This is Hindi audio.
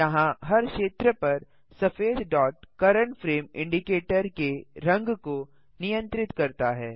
यहाँ हर क्षेत्र पर सफेद डॉट करेंट फ्रेम इंडिकेटर के रंग को नियंत्रित करता है